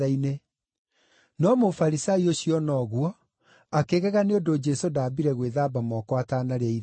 No Mũfarisai ũcio ona ũguo akĩgega nĩ ũndũ Jesũ ndaambire gwĩthamba moko atanarĩa irio.